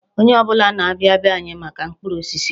Onye ọbụla na-abịa be anyị maka mkpụrụ osisi.